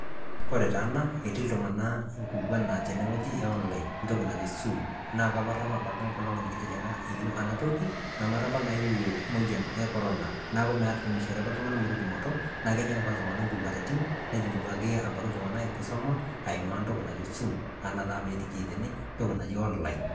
Kore tana ana etii ltung'ana nkikwan naa tene ng'oji e online ntoki najoo soom. Naa kaaparu apa apake nkolong' nikitijing'a oyoo ana ntoki. Namaara apa naewuo moyian e korona. Naa meishore apa ltung'ana mee tumotoo na kejiin apa ltung'ana nking'uaritin nejiin duake ltung'ana abaki nkisoma aimaa ntoki naijo soom ana taata peetii tenee ntoki naijo online.